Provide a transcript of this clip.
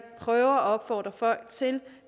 prøver at opfordre folk til